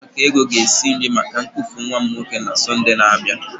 Oriakụ Ego ga-esi nri maka ñnkufu nwa m nwoke na Sọnde na-abịa.